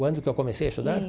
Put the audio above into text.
Quando que eu comecei a estudar?